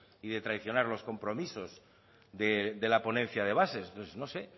y de traicionar los compromisos de la ponencia de bases no sé